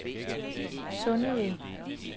Sundeved